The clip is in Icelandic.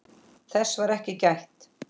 Þess var ekki gætt.